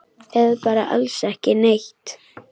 Eða bara alls ekki neitt?